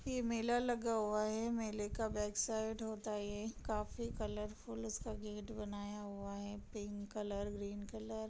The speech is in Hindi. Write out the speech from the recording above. ये मेला लगा हुआ है मेले का बैक साइड होता है ये काफी कलरफुल इसका गेट बनाया हुआ है पिंक कलर ग्रीन कलर --